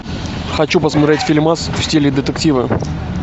хочу посмотреть фильмас в стиле детектива